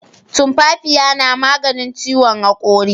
Tumfafiya na maganin ciwon hakuri